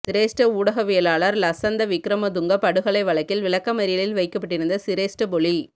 சிரேஷ்ட ஊடகவியலாளர் லசந்த விக்ரமதுங்க படுகொலை வழக்கில் விளக்கமறியலில் வைக்கப்பட்டிருந்த சிரேஷ்ட பொலி